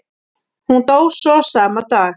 Hún dó svo sama dag.